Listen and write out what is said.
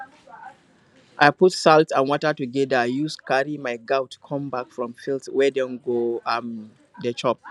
i put salt and water together use carry my goat come back from field wey dem go um dey chop